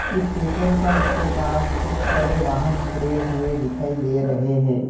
इस petrol pump के पास कुछ बड़े वाहन खड़े हुए दिखाई दे रहे हैं।